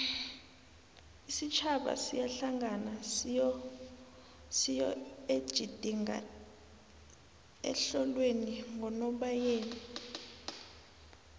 isitjhaba siyahlangana siyoejidinga ehlolweni ngonobayeni